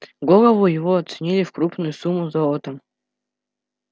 голову его оценили в крупную сумму золотом